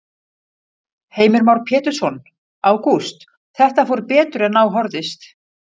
Heimir Már Pétursson: Ágúst, þetta fór betur en á horfðist?